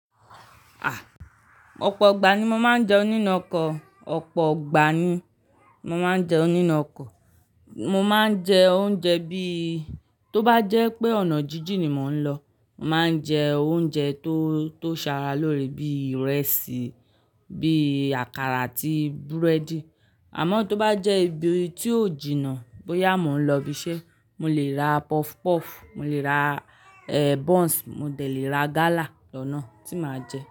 Ah! Ọ̀pọ̀ ìgbà ni mo máa ń jẹun nínu okọ, ọ̀pọ̀ ìgbà ni mo máa ń jẹun ninu okọ. Mo máa ń jẹ oúnjẹ bí, tó bá jẹ́ pé ọ̀nà jíjìn ni mò ń lọ, mo máa ń jẹ oúnjẹ tó, tó ṣàrà lórí bí ìrẹsì, bí àkàrà àti búrẹ́dì. Àmọ́ tó bá jẹ́ ibi tí ó jìnnà bóyá mò ń lọ ibiṣẹ́, mo lè ra puff puff, mo lè ra, eh, buns, mo dẹ̀ lé ra gala lọ̀nà tí mà á jẹ.